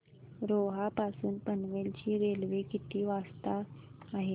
रोहा पासून पनवेल ची रेल्वे किती वाजता आहे